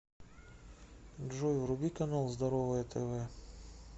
джой вруби канал здоровое тв